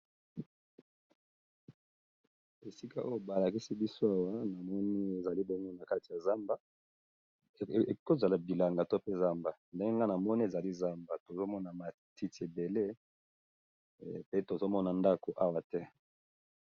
Esika oyo ba lakisi biso awa na moni ezali bongo na kati ya zamba eko zala bilanga to pe zamba ndenge nga na moni, ezali zamba tozo mona matiti ébélé pe tozo mona ndako awa te .